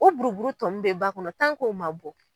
O buru buru tɔ min bɛ ba kɔnɔ ma bɔ.